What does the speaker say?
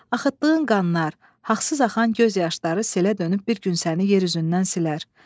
Axıtdığın qanlar, haqsız axan göz yaşları selə dönüb bir gün səni yer üzündən silər.